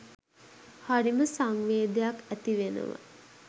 හරිම සංවේගයක් ඇති වෙනවා